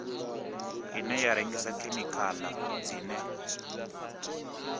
ine ya rengisa khemikhala dzine